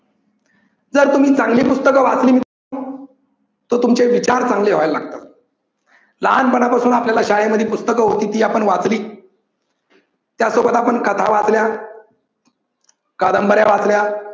जर तुम्ही चांगली पुस्तक वाचली, तर तुमचे विचार चांगले व्हायला लागतात. लहानपणापासून आपण शाळेत पुस्तकं किती आपण वाचली त्या सोबत आपण कथा वाचल्या कादंबऱ्या वाचल्या